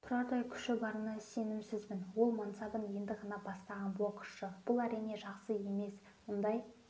тұрардай күші барына сенімсізбін ол мансабын енді ғана бастаған боксшы бұл әрине жақсы емес мұндай